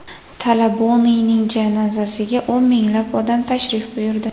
Talaboniyning janozasiga o‘n minglab odam tashrif buyurdi.